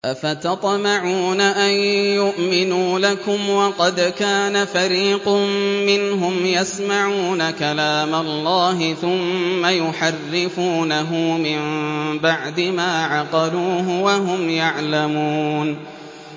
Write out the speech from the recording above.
۞ أَفَتَطْمَعُونَ أَن يُؤْمِنُوا لَكُمْ وَقَدْ كَانَ فَرِيقٌ مِّنْهُمْ يَسْمَعُونَ كَلَامَ اللَّهِ ثُمَّ يُحَرِّفُونَهُ مِن بَعْدِ مَا عَقَلُوهُ وَهُمْ يَعْلَمُونَ